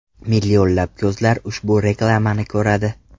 Millionlab ko‘zlar ushbu reklamani ko‘radi!